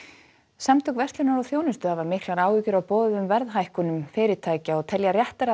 samtök verslunar og þjónustu hafa miklar áhyggjur af boðuðum verðhækkunum fyrirtækja og telja réttara að